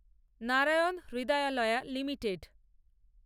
Narayan Hrudayalaya limited